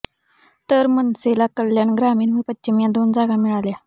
तर मनसेला कल्याण ग्रामीण व पश्चिम या दोन जागा मिळाल्या